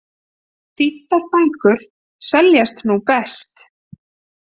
Þýddar bækur seljast nú best